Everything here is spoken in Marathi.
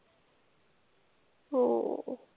हो.